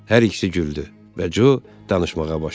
Hər ikisi güldü və Co danışmağa başladı.